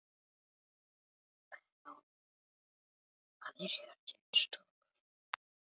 Benóný, hvað er jörðin stór?